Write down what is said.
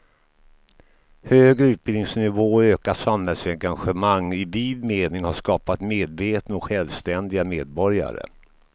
Högre utbildningsnivå och ökat samhällsengagemang i vid mening har skapat medvetna och självständiga medborgare.